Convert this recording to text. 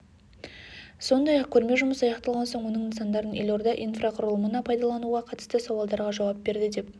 сондай-ақ көрме жұмысы аяқталған соң оның нысандарын елорда инфрақұрылымына пайдалануға қатысты сауалдарға жауап берді деп